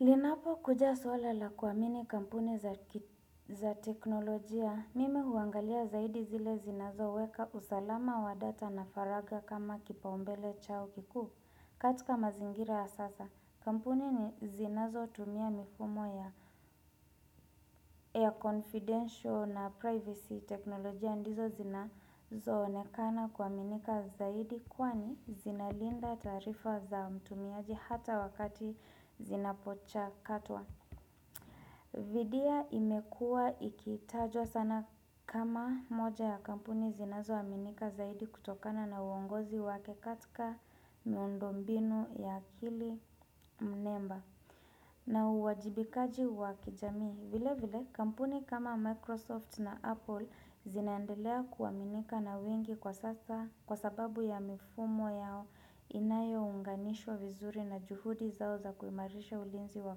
Linapo kuja suala la kuamini kampuni za teknolojia, mimi huangalia zaidi zile zinazo weka usalama wa data na faraga kama kipaumbele chao kikuu. Katika mazingira ya sasa, kampuni ni zinazo tumia mifumo ya air confidential na privacy teknolojia ndizo zinazo onekana kuaminika zaidi kwani zinalinda taarifa za mtumiaji hata wakati zinapocha katwa. Vidia imekuwa ikitajwa sana kama moja ya kampuni zinazoaminika zaidi kutokana na uongozi wake katika miundo mbinu ya akili mnemba na uwajibikaji wakijamii. Vile vile kampuni kama Microsoft na Apple zinaendelea kuaminika na wingi kwa sasa kwa sababu ya mifumo yao inayo unganishwa vizuri na juhudi zao za kuimarisha ulinzi wa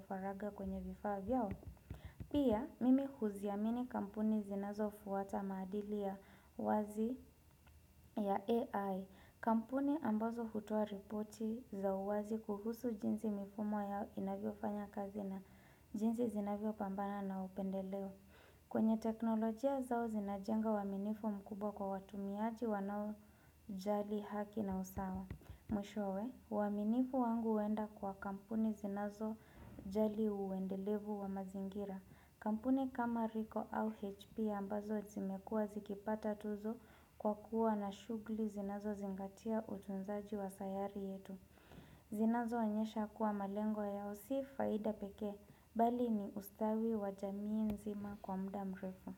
faraga kwenye vifaa vyao. Pia, mimi huziamini kampuni zinazo fuata maadili ya wazi ya AI. Kampuni ambazo hutoa ripoti za uwazi kuhusu jinsi mifumo ya inavyo fanya kazi na jinsi zinavyo pambana na upendeleo. Kwenye teknolojia zao zinajenga uaminifu mkubwa kwa watu miaji wanao jali haki na usawa. Mwishowe, uaminifu wangu uenda kwa kampuni zinazo jali uendelevu wa mazingira. Kampuni kama RICO au HP ambazo zimekuwa zikipata tuzo kwa kuwa na shugli zinazo zingatia utunzaji wa sayari yetu. Zinazo onyesha kuwa malengo yao si faida pekee bali ni ustawi wa jamii nzima kwa mda mrefu.